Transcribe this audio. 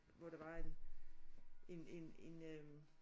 Hvor der var en en en en øh